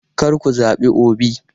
Kar ku zabi Obi!